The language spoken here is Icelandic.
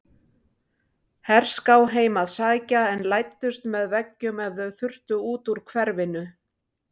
Herská heim að sækja en læddust með veggjum ef þau þurftu út úr hverfinu.